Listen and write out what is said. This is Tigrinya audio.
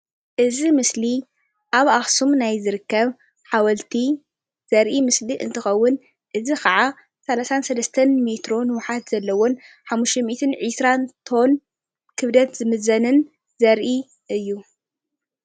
እዚ ምስሊ ኣብ ኣክሱም ናይ ዝርከብ ሓወልቲ ዘርእ ምስሊ እንትከውን እዚ ከዓ 33 ሜትሮ ንውሓት ዘለዎ እንትከውን 520 ቶን ክብደት ዝምዘንን ዘርኢ እዩ፡፡